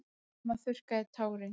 Mamma þurrkaði tárin.